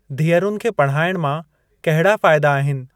धीअरुनि खे पढ़ाइण मां कहिड़ा फाइदा आहिनि?